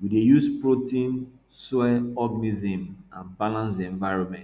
we dey protect soil organisms and balance di environment